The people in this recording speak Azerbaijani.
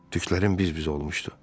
Tüklərim biz-biz olmuşdu.